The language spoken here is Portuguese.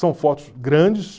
São fotos grandes.